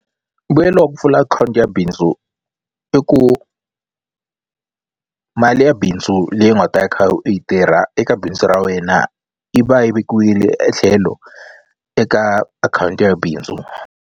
Mbuyelo wa ku pfula akhawunti ya bindzu i ku mali ya bindzu leyi u nga ta kha u yi tirha eka bindzu ra wena yi va yi vekiwile etlhelo eka akhawunti ya bindzu.